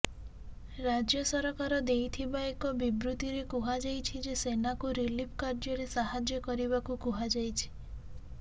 ରାଜ୍ୟ ସରକାର ଦେଇଥିବା ଏକ ବିବୃତ୍ତିରେ କୁହାଯାଇଛି ଯେ ସେନାକୁ ରିଲିଫ୍ କାର୍ଯ୍ୟରେ ସାହାଯ୍ୟ କରିବାକୁ କୁହାଯାଇଛି